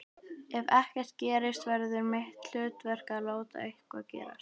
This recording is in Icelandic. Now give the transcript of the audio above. Ef ekkert gerist verður mitt hlutverk að láta eitthvað gerast.